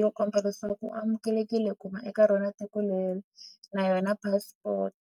yo komba leswaku u amukelekile ku va eka rona tiko leri na yona passport.